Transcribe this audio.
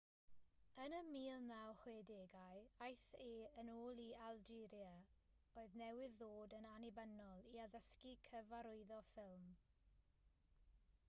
yn y 1960au aeth e yn ôl i algeria oedd newydd ddod yn annibynnol i addysgu cyfarwyddo ffilm